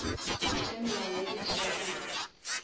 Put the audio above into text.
tša melao ya di traffic